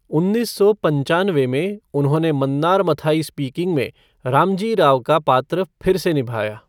उन्नीस सौ पंचानवे में, उन्होंने मन्नार मथाई स्पीकिंग में रामजी राव का पात्र फिर से निभाया।